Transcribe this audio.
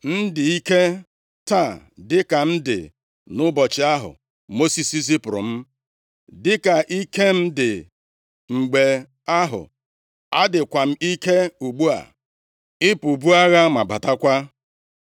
M dị ike taa dịka m dị nʼụbọchị ahụ Mosis zipụrụ m. Dịka ike m dị mgbe ahụ, adịkwa m ike ugbu a, ịpụ buo agha ma batakwa